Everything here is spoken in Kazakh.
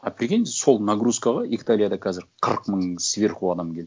а прикинь сол нагрузкаға италияда қазір қырық мың сверху адам келді